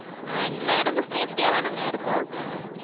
ஆஹ் எல்லா இடமு safety யாதானங்க இருக்கு?